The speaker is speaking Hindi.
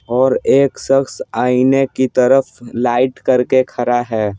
और एक शख्स आईने की तरफ लाइट करके खड़ा है।